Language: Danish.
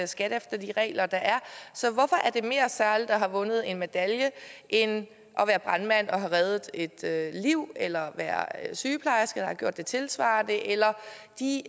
skat efter de regler der er så hvorfor er det mere særligt at have vundet en medalje end at være brandmand og have reddet et liv eller være sygeplejerske der har gjort det tilsvarende eller de